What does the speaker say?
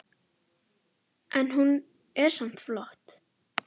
En hún er samt flott.